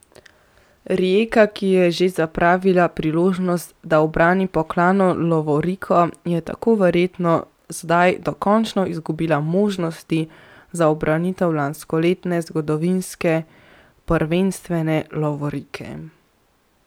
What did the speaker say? Rijeka, ki je že zapravila priložnost, da ubrani pokalno lovoriko, je tako verjetno zdaj dokončno izgubila možnosti za ubranitev lanskoletne zgodovinske prvenstvene lovorike.